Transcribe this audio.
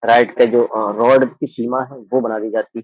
Right पे जो अं रोड़ की सीमा है वो बड़ा दी जाती है।